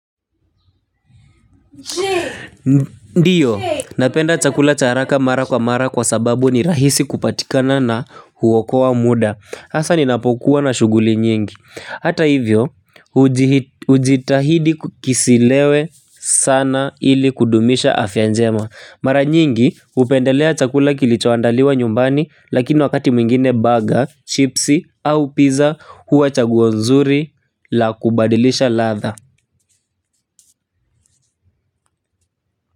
Ndiyo napenda chakula cha haraka mara kwa mara kwa sababu ni rahisi kupatikana na huokoa muda hasa ninapokuwa na shughuli nyingi hata hivyo hujitahidi kisilewe sana ili kudumisha afya njema mara nyingi hupendelea chakula kilicho andaliwa nyumbani lakini wakati mwingine burger chipsi au pizza huwa chaguo nzuri la kubadilisha ladha.